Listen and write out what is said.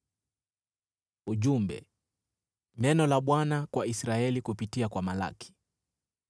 Ujumbe: Neno la Bwana kwa Israeli kupitia kwa Malaki.